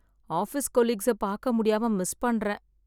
Office கொலீக்ஸை பார்க்க முடியாம மிஸ் பண்றேன்.